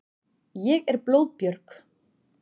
Ég er blóðbjörg.